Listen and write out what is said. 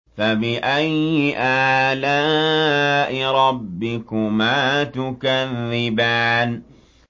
فَبِأَيِّ آلَاءِ رَبِّكُمَا تُكَذِّبَانِ